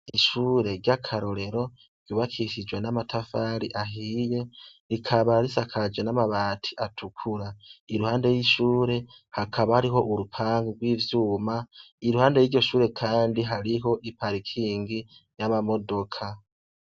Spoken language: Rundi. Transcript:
Ishure ry'akarorero ryubakishijwe n'amatafari ahiye rikaba risakajwe n'amabati atukura, impande y'ishure hakaba harih'urupangu rw'ivyuma, iruhande yiryo shure Kandi hariho i parakingi yama modoka.